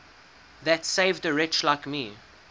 that saved a wretch like me